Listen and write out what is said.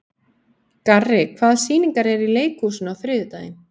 Garri, hvaða sýningar eru í leikhúsinu á þriðjudaginn?